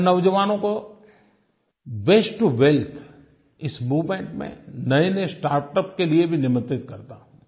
मैं नौजवानों को वास्ते टो वेल्थ इस मूवमेंट में नयेनये स्टार्टअप के लिए भी निमंत्रित करता हूँ